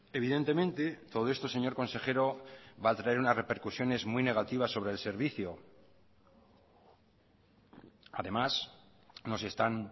evidentemente todo esto señor consejero va a traer unas repercusiones muy negativas sobre el servicio además nos están